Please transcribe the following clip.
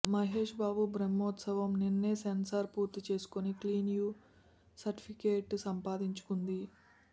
మహేష్ బాబు బ్రహ్మోత్సవం నిన్నే సెన్సార్ పూర్తి చేసుకొని క్లీన్ యూ సర్టిఫికేట్ సంపాదించుకుంది